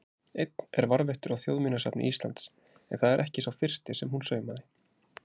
Einn er varðveittur á Þjóðminjasafni Íslands, en það er ekki sá fyrsti sem hún saumaði.